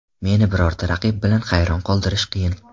Meni birorta raqib bilan hayron qoldirish qiyin.